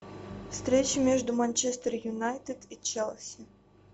встреча между манчестер юнайтед и челси